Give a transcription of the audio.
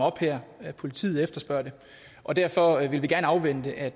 op her at politiet efterspørger det og derfor vil vi gerne afvente at